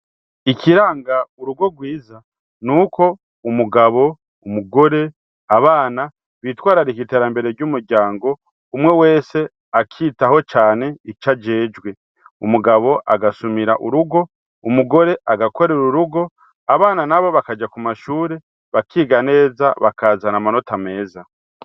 Ikiranga urugo rwiza nuko umugabo , umugore , abana bitwararika iterambere ry'umuryango umwe wese akitaho cane ic'ajejwe umugabo agasumira urugo, umugore agakorer'urugo, abana nabo bakaja ku mashure, bakiga neza bakazana amanota meza .